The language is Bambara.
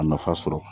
A nafa sɔrɔ